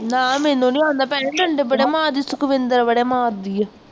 ਨਾ ਮੈਨੂੰ ਨਹੀਂ ਆਉਂਦਾ ਭੈਣੇ ਡੰਡੇ ਬੜੇ ਮਾਰਦੇ ਆ ਸੁਖਵਿੰਦਰ ਬੜੇ ਮਾਰਦੀ ਆ,